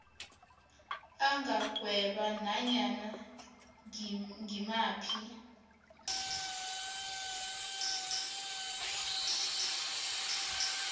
angagweba nanyana ngimaphi